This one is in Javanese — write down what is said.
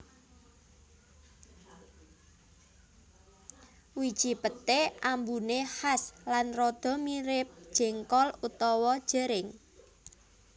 Wiji peté ambuné khas lan rada mirip jéngkol utawa jering